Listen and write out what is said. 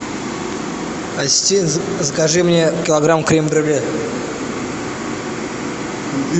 ассистент закажи мне килограмм крем брюле